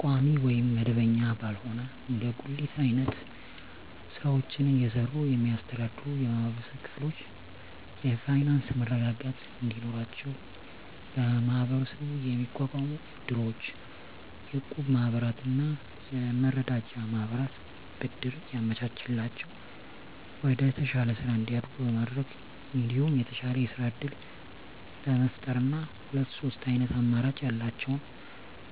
ቋሚ ወይም መደበኛ ባልሆነ እንደ ጉሊት አይነት ስራወችን እየሰሩ የሚስተዳደሩ የማህበረሰብ ክፍሎች የፋይናንሰ መረጋጋት እንዲኖራቸው በመሀበረሰቡ የሚቋቋሙ እድሮች፣ የእቁብ ማህበራትና የመረዳጃ ማህበራት ብድር እያመቻቸላቸው ወደተሻለ ስራ እንዲያድጉ በማድረግ እንዲሁም የተሻለ የስራ እድል በመፍጠርና ሁለት ሶስት አይነት አማራጭ ያላቸውን